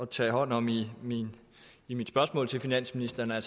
tage hånd om i mit i mit spørgsmål til finansministeren er